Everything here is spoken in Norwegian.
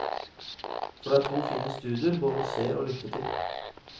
For det er to fine studier både å se og lytte til.